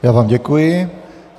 Já vám děkuji.